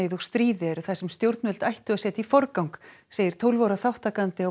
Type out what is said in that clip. og stríði eru það sem stjórnvöld ættu að setja í forgang segir tólf ára þátttakandi á